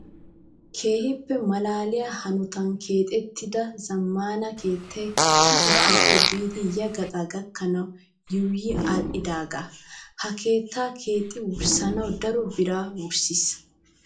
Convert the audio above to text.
Keehippe malaaliyaa hanotan keexettida zammaana keettayi ha gaxaappe biidi ya gaxaa gakkanawu yuuyyi aadhdhaagaa. Ha keettaa keexxi wurssanawu daro biraa wurssis.